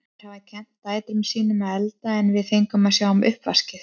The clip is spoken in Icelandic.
Þær hafa kennt dætrum sín um að elda en við fengum að sjá um uppvaskið.